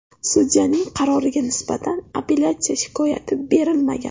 Sudyaning qaroriga nisbatan apellyatsiya shikoyati berilmagan.